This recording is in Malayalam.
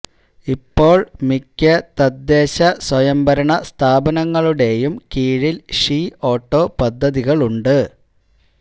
ഇപ്പോൾ മിക്ക തദ്ദേശ സ്വയംഭരണ സ്ഥാപനങ്ങളുടെയും കീഴിൽ ഷീ ഓട്ടോ പദ്ധതികളുണ്ട്